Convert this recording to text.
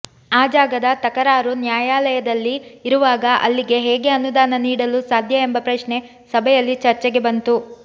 ಆ ಜಾಗದ ತಕರಾರು ನ್ಯಾಯಾಲಯದಲ್ಲಿ ಇರುವಾಗ ಅಲ್ಲಿಗೆ ಹೇಗೆ ಅನುದಾನ ನೀಡಲು ಸಾಧ್ಯ ಎಂಬ ಪ್ರಶ್ನೆ ಸಭೆಯಲ್ಲಿ ಚರ್ಚೆಗೆ ಬಂತು